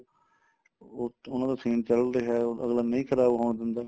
ਉਹ ਉਹਨਾ ਦਾ scene ਚੱਲ ਰਿਹਾ ਅਗਲਾ ਨਹੀਂ ਖ਼ਰਾਬ ਹੋਣ ਦਿੰਦਾ